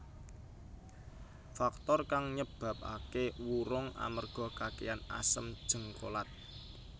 Faktor kang nyebabaké wurung amerga kakèhan asam jéngkolat